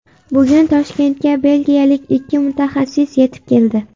Bugun Toshkentga belgiyalik ikki mutaxassis yetib keldi.